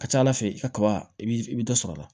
A ka ca ala fɛ i ka kaba i b'i i bɛ dɔ sɔrɔ a la